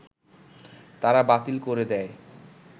তারা বাতিল করে দেয়